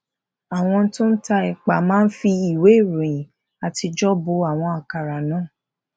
àwọn tó ta èpà máa ń fi ìwé ìròyìn àtijó bo àwọn àkàrà náà